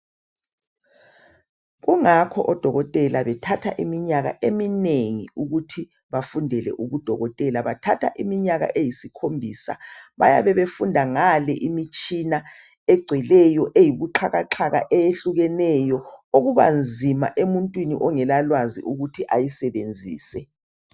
Kungakho odokotela bethatha iminyaka eminengi ukuthi bafundela ubudokotela. Bathatha iminyaka eyisikhombisa. Bayabe befunda ngale imitshina egcweleyo eyibuxakaxaka okubanzima emuntwini ongelalwazi ukuthi ayisebenzise